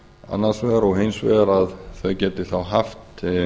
annars vegar og hins vegar að þau geti þá haft